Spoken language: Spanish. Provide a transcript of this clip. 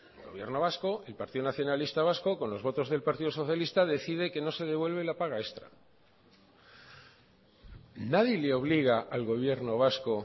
el gobierno vasco el partido nacionalista vasco con los votos del partido socialista decide que no se devuelve la paga extra nadie le obliga al gobierno vasco